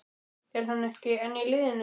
Er hann ekki enn í liðinu?